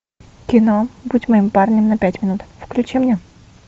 кино будь моим парнем на пять минут включи мне